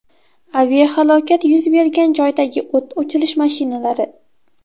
Aviahalokat yuz bergan joydagi o‘t o‘chirish mashinalari.